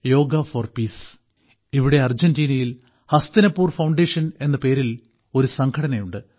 yoga for peace ഇവിടെ അർജന്റീനയിൽ Hastinapur foundation എന്ന പേരിൽ ഒരു സംഘടനയുണ്ട്